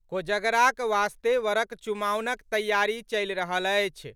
कोजगराक वास्ते वरक चुमाओनक तैयारी चलि रहल अछि।